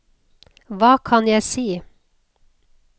hva kan jeg si